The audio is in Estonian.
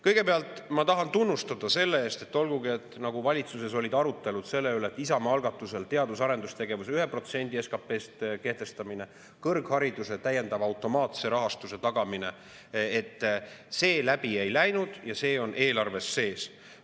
Kõigepealt ma tahan aga tunnustada selle eest, et olgugi et valitsuses olid arutelud selle üle, et Isamaa algatusel teadus- ja arendustegevusse 1% SKP-st kehtestamine ja kõrghariduse täiendava automaatse rahastuse tagamine, see läbi ei läinud ja see on eelarves sees.